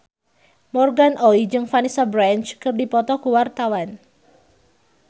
Morgan Oey jeung Vanessa Branch keur dipoto ku wartawan